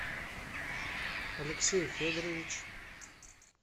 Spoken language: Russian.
алексей федорович